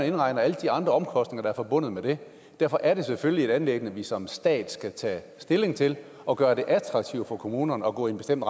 indregner alle de andre omkostninger der er forbundet med det derfor er det selvfølgelig et anliggende som vi som stat skal tage stilling til og gøre det attraktivt for kommunerne at gå i en bestemt